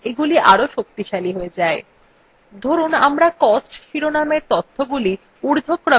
ধরুন আমরা costs শিরোনামের তথ্যগুলি ঊর্ধ্বক্রমে সাজাতে চাই